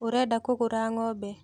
Ũrenda kũgũra ng'ombe